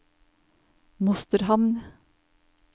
Mosterhamn